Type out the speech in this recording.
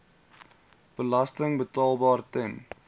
belasting betaalbaar ten